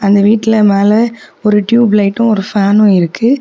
இந்த வீட்ல மேல ஒரு டியூப்லைட்டும் ஒரு ஃபேனும் இருக்கு.